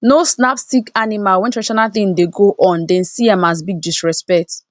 no snap sick animal when traditional thing dey go ondem see am as big disrespect